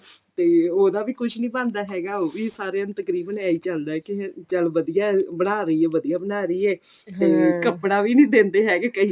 ਤੇ ਉਹਦਾ ਵੀ ਕੁੱਝ ਨਹੀਂ ਬਣਦਾ ਹੈਗਾ ਉਹ ਵੀ ਹੁਣ ਸਾਰੇ ਤਕਰੀਬਨ ਇਹੀ ਚੱਲਦਾ ਕਿ ਚੱਲ ਵਧੀਆ ਬਣਾ ਰਹੀ ਹੈ ਵਧੀਆ ਬਣਾ ਰਹੀ ਏ ਤੇ ਕੱਪੜਾ ਵੀ ਨੀ ਦਿੰਦੇ ਹੈਗੇ ਕਈ